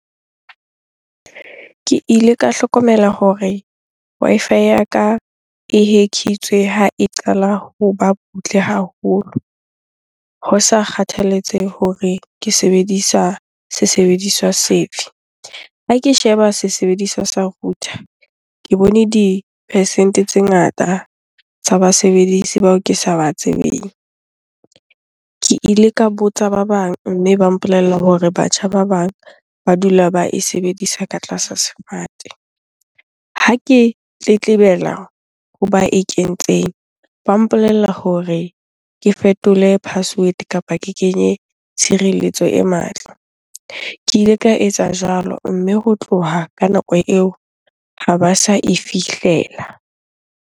Ke ile ka hlokomela hore Wi-Fi ya ka e hack-itswe ha e qala hoba butle haholo. Ho sa kgathalatsehe hore ke sebedisa se sebediswa se fe. Ha ke sheba se sebediswa sa router, ke bone di-percent-e tse ngata tsa basebedisi bao ke sa ba tsebeng. Ke ile ka botsa ba bang, mme ba mpolella hore batjha ba bang ba dula ba e sebedisa ka tlasa sefate. Ha ke tletlebela hoba e kentseng, ba mpolella hore ke fetole password kapa ke kenye tshireletso e matla. Ke ile ka etsa jwalo, mme ho tloha ka nako eo ha ba sa e fihlela.